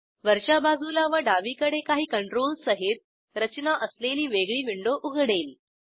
वरच्या बाजूला व डावीकडे काही कंट्रोल्स सहित रचना असलेली वेगळी विंडो उघडेल